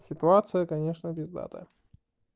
ситуация конечно пиздатая